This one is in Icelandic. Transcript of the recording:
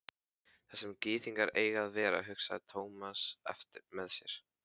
Þar sem gyðingar eiga að vera, hugsaði Thomas með sér.